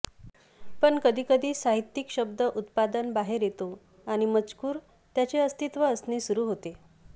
पण कधी कधी साहित्यिक शब्द उत्पादन बाहेर येतो आणि मजकूर त्याचे अस्तित्व असणे सुरू होते